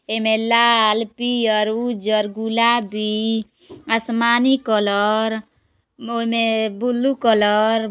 एमे लाल पियर उजर गुलाबी आसमानी कलर ओहि मे बुलु कलर --